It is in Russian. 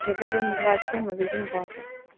гагарина двадцать семь магазин бахус